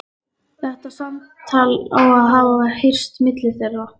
Þetta samtal á að hafa heyrst milli þeirra.